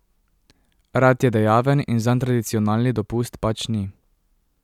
Rad je dejaven in zanj tradicionalni dopust pač ni.